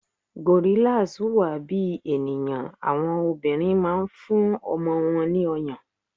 Gorillas huwa bi eniyan, awọn obinrin ma n fún ọmọ won ni oyon